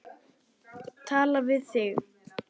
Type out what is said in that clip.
Tala við þig.